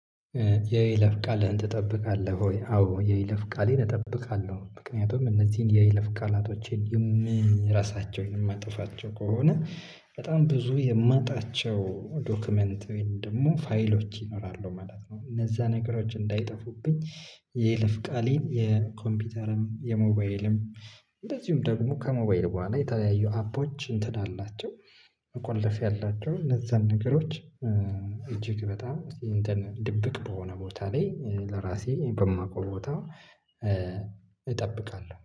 የይለፍ ቃልህን ትጠብቃለህ ወይ? አዎ የይለፍ ቃሌን እጠብቃለሁ ምክንያቱም እነዚህን የይለፍ ቃላቶቼን የምረሳቸውን የማጥፋቸው ከሆነ በጣም ብዙ የማጣቸው ዶክመንት ወይም ደግሞ ፋይሎች ይኖራሉ ማለት ነው እነዛ ነገሮች እንዳይጠፉብኝ። የይለፍ ቃሌን የኮምፒውተርም የሞባይልም። እንደዚሁም ደግሞ ከሞባይል በኋላ የተለያዩ አፖች እንትን አላቸው መቆለፍያ አላቸው እነዛን ነገሮች እጅግ በጣም እንትን ድብቅ በሆነ ቦታ ላይ ለራሴ በማውቀው ቦታ እጠብቃለሁ